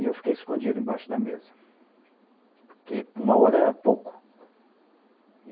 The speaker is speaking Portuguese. E eu fiquei escondido embaixo da mesa, porque uma hora era pouco.